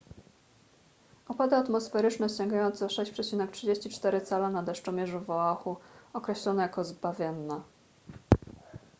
opady atmosferyczne sięgające 6,34 cala na deszczomierzu w oahu określono jako zbawienne